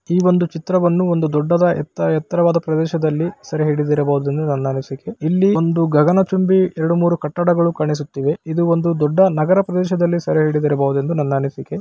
ಈ ಒಂದು ಚಿತ್ರವನ್ನು ಒಂದು ದೊಡ್ಡದ ಎತ್ತರ ಎತ್ತರವಾದ ಪ್ರದೇಶದಲ್ಲಿ ಸೆರಿ ಹಿಡಿದಿರಬಹುದು ಎಂಬುದು ನನ್ನ ಅನಿಸಿಕೆ ಇಲ್ಲಿ ಒಂದು ಗಗನಚುಂಬಿ ಎರಡು ಮೂರು ಕಟ್ಟಡಗಳು ಕಾಣಿಸುತ್ತಿವೆ ಇದು ಒಂದು ದೊಡ್ಡ ನಗರ ಪ್ರದೇಶದಲ್ಲಿ ಸೇರಿ ಹಿಡಿದಿರಬಹುದೆಂದು ನನ್ನ ಅನಿಸಿಕೆ.